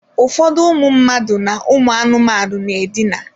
Ụfọdụ ụmụ mmadụ na anụmanụ na-edina.